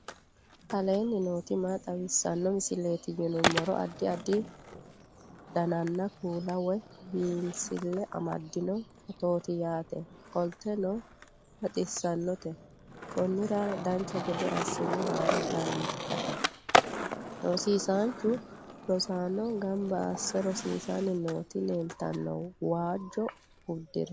aleenni nooti maa xawisanno misileeti yinummoro addi addi dananna kuula woy biinsille amaddino footooti yaate qoltenno baxissannote konnira dancha gede assine haara danchate rosiisanchu rosaano gamba asse rosiisssanni nooti leeltanno waajjo uddire